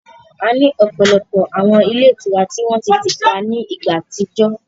A ní ọ̀pọ̀lọpọ̀ àwọn ilé ìtura ni wọ́n ti tìpá ní ìgbà àtijọ́